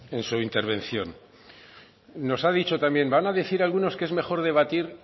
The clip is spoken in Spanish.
en su intervención nos ha dicho también van a decir algunos que es mejor debatir